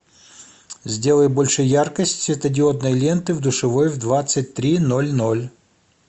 сделай больше яркость светодиодной ленты в душевой в двадцать три ноль ноль